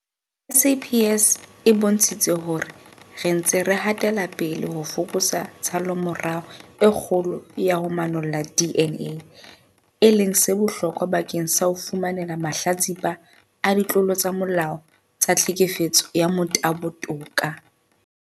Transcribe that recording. SAPS e bontshitse hore re ntse re hatela pele ho fokotsa tshallomora e kgolo ya ho manolla DNA, e leng se bohlokwa bakeng sa ho fumanela mahlatsipa a ditlolo tsa molao tsa tlhekefetso ya motabo toka.